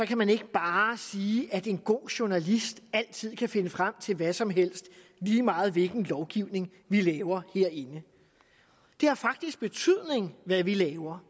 kan man ikke bare sige at en god journalist altid kan finde frem til hvad som helst lige meget hvilken lovgivning vi laver herinde det har faktisk betydning hvad vi laver